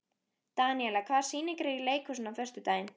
Daníela, hvaða sýningar eru í leikhúsinu á föstudaginn?